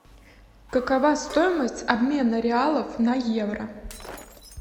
какова стоимость обмена реалов на евро